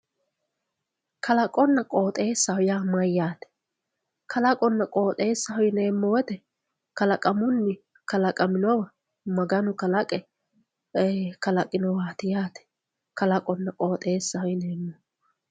Kalaqona qoxesaho ya mayate Kalaqona qoxesaho yinemo woyite kalaqunni kalaqaminowa maganu kalaqe e kalaqinowati yate Kalaqona qoxesaho yinemohu